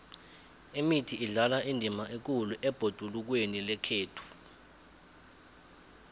imithi idlala indima ekhulu ebhodulukweni lekhethu